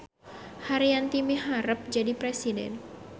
Haryanti miharep jadi presiden